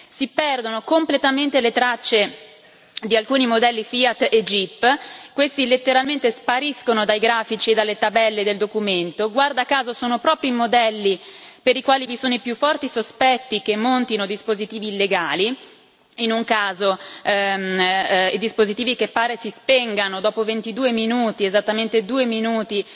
Si perdono completamente le tracce di alcuni modelli Fiat e Jeep, che letteralmente spariscono dai grafici e dalle tabelle del documento guarda caso sono proprio i modelli per i quali vi sono i più forti sospetti che montino dispositivi illegali, in un caso dispositivi che pare si spengano dopo ventidue minuti, esattamente due minuti